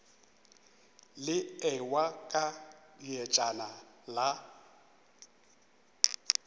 le ewa ka dietšana la